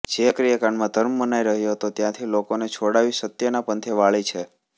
જે ક્રિયાકાંડમાં ધર્મ મનાઈ રહ્યો હતો ત્યાંથી લોકોને છોડાવી સત્યના પંથે વાળી છે